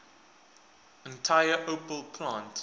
entire opel plant